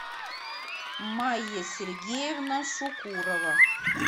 майя сергеевна шукурова